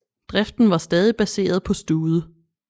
Driften var stadig baseret på stude